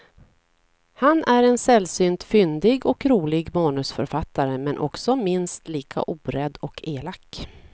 Han är en sällsynt fyndig och rolig manusförfattare, men också minst lika orädd och elak.